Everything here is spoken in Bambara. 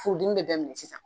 Furudimi bɛ bɛɛ minɛ sisan